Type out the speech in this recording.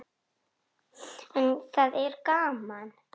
En það er gaman.